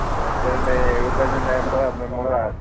എത്ര ഉണ്ടായിരുന്നു